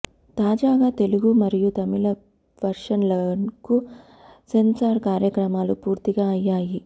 తాజాగా తెలుగు మరియు తమిళ వర్షన్లకు సెన్సార్ కార్యక్రమాలు పూర్తి అయ్యాయి